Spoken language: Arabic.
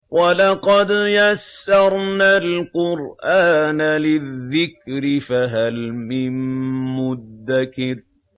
وَلَقَدْ يَسَّرْنَا الْقُرْآنَ لِلذِّكْرِ فَهَلْ مِن مُّدَّكِرٍ